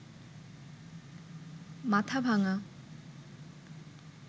Mathabhanga